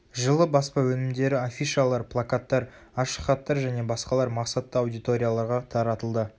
жылы баспа өнімдері афишалар плакаттар ашық хаттар және басқалар мақсатты аудиторияларға таратылды